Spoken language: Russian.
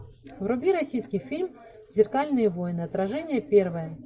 вруби российский фильм зеркальные войны отражение первое